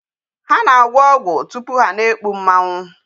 Ha na-agwọ ọgwụ tupu ha a na-ekpu mmanwụ.